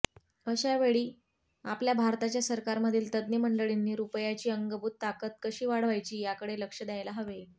अशा वेळी आपल्याभारताच्या सरकारमधील तज्ज्ञ मंडळींनी रुपयाची अंगभूत ताकद कशी वाढवायचीयाकडे लक्ष द्यायला हवे